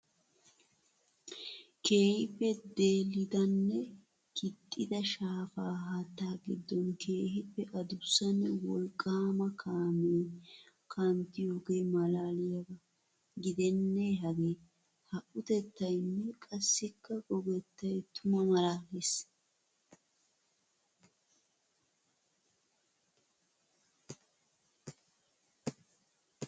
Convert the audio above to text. Keehippe deelidanne kixxidda shaafa haatta gidora keehippe adussanne wolqqama kaame kanttiyoge malaliyaba gidenne hage. Ha utettaynne qassikka gogettay tuma malaales.